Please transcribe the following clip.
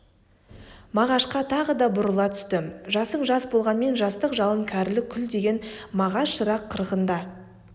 мағашқа тағы да бұрыла түсті жасың жас болғанмен жастық жалын кәрілік күл деген мағаш шырақ қырғында